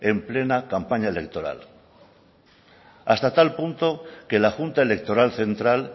en plena campaña electoral hasta tal punto que la junta electoral central